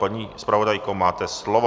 Paní zpravodajko, máte slovo.